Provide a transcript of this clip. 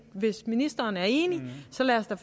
hvis ministeren er enig så lad os da